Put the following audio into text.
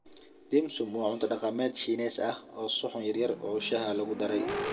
Dim sum waa cunto dhaqameed Shiinees ah oo ah suxuun yar yar oo shaaha lagu daray.